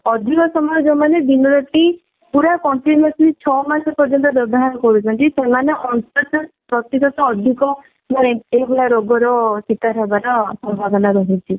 ଅଧିକ ସମୟ ଯଉମାନେ ଦିନ ରାତି ପୁରା continuously ଛଅ ମାସ ପର୍ଯ୍ୟନ୍ତ ବ୍ୟବହାର କରୁଛନ୍ତି ସେମାନେ ପ୍ରତିଶତ ଅଧିକ ଏଇ ଭଳିଆ ରୋଗର ଶିକାର ହେବାର ସମ୍ଭାବନା ରହୁଛି।